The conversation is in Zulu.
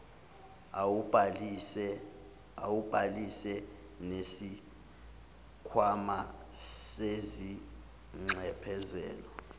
awubhalisile nesikhwama sezinxephezelo